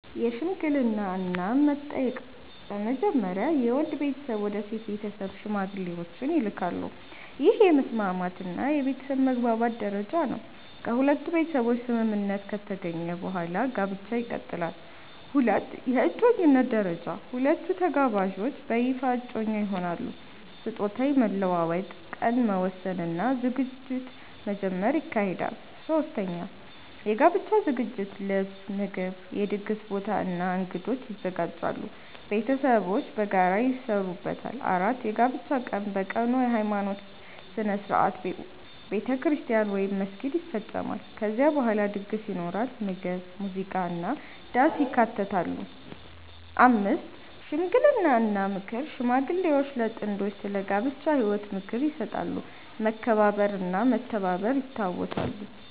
1) የሽምግልና እና መጠየቅ በመጀመሪያ የወንድ ቤተሰብ ወደ ሴት ቤተሰብ ሽማግሌዎችን ይልካሉ። ይህ የመስማማት እና የቤተሰብ መግባባት ደረጃ ነው። ከሁለቱ ቤተሰቦች ስምምነት ከተገኘ በኋላ ጋብቻ ይቀጥላል። 2) የእጮኝነት ደረጃ ሁለቱ ተጋባዦች በይፋ እጮኛ ይሆናሉ። ስጦታ መለዋወጥ፣ ቀን መወሰን እና ዝግጅት መጀመር ይካሄዳል። 3) የጋብቻ ዝግጅት ልብስ፣ ምግብ፣ የድግስ ቦታ እና እንግዶች ይዘጋጃሉ። ቤተሰቦች በጋራ ይሰሩበታል። 4) የጋብቻ ቀን በቀኑ የሃይማኖት ሥነ ሥርዓት (ቤተክርስቲያን ወይም መስጊድ) ይፈጸማል። ከዚያ በኋላ ድግስ ይኖራል፣ ምግብ፣ ሙዚቃ እና ዳንስ ይካተታሉ። 5) ሽምግልና እና ምክር ሽማግሌዎች ለጥንዶቹ ስለ ጋብቻ ህይወት ምክር ይሰጣሉ፣ መከባበር እና መተባበር ይታወሳሉ።